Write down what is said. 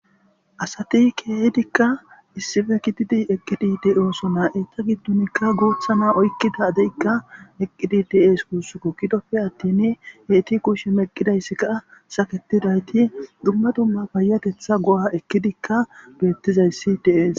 asati keehdikka issippe gididi eqqidi de'osonaa eta giddonikka guutha na oykkida deykka eqqidi de'es kussuko gidoppe attin heyti kushshe meqqidayssikka saketidayti dumma dumma payatetha go'a ekkidikka beettizayssi de'es